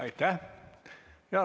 Aitäh!